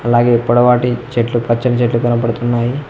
అలాగే పొడవాటి చెట్లు పచ్చని చెట్లు కనబడుతున్నాయి.